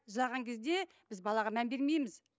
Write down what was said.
жылаған кезде біз балаға мән бермейміз